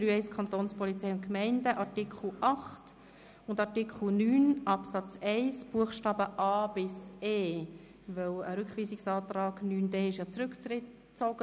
Der Antrag SVP/Iseli zu Artikel 9 Absatz 1 Buchstabe d wurde zurückgezogen.